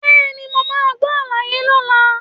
Bẹ́ẹ̀ni, mo máa gbọ́ àlàyé lọ́la.